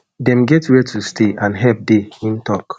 dem get wia to stay and help dey im tok